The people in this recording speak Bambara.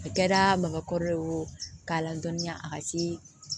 A kɛra makɔrɔ ye wo k'a la dɔnniya a ka se